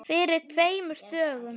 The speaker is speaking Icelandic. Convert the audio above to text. Fyrir tveimur dögum?